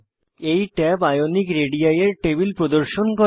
এই tab Ionic ready এর table প্রদর্শন করে